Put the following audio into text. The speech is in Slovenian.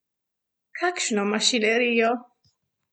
Kakšno mašinerijo?